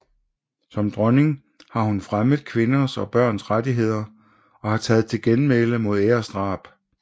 Som dronning har hun fremmet kvinders og børns rettigheder og har taget til genmæle mod æresdrab